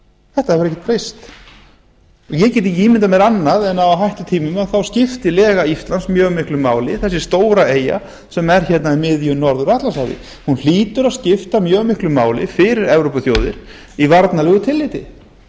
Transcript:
þetta hefur ekkert breyst ég get ekki ímyndað mér annað en á hættutímum skipti lega íslands mjög miklu máli þessi stóra eyja sem er hérna á miðju norður atlantshafi hún hlýtur að skipta mjög miklu máli fyrir evrópuþjóðir í varnarlegu tilliti